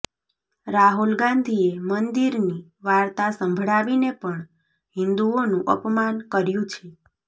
રાહુલ ગાંધીએ મંદિરની વાર્તા સંભળાવીને પણ હિંદુઓનું અપમાન કર્યું છે